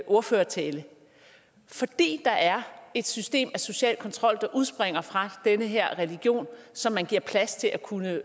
ordførertale fordi der er et system af social kontrol der udspringer fra den her religion som man giver plads til at kunne